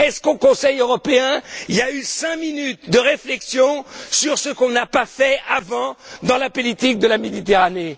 Est ce qu'au Conseil européen, il y a eu cinq minutes de réflexion sur ce qu'on n'a pas fait, avant, dans la politique de la Méditerranée?